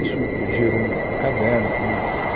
Isso gerou um caderno que num